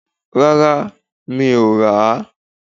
Rárá mi ò rà á